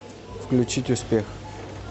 включить успех